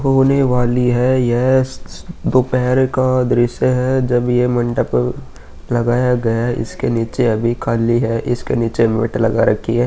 होने वाली है। यस दोपहार का दृश्य है। जब ये मंडप लगाया गया है। इसके नीचे अभी खाली है। इसके नीचे मेट लगा रखी है।